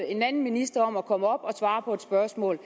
en anden minister om at komme op og svare på spørgsmål